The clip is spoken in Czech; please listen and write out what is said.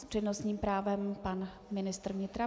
S přednostním právem pan ministr vnitra.